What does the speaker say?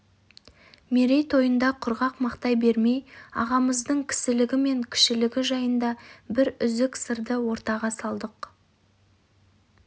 мерейтойында құрғақ мақтай бермей ағамыздың кісілігі мен кішілігі жайында бір үзік сырды ортаға салдық